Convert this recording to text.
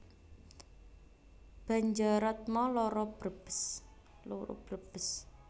Banjaratma loro Brebes